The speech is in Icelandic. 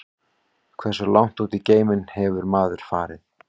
Hversu langt út í geiminn hefur maðurinn farið?